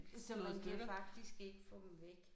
Så man kan faktisk ikke få dem væk